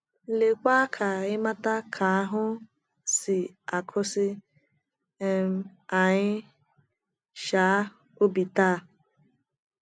Lee kwa ka ịmata nke ahụ si akasi um anyị um obi taa!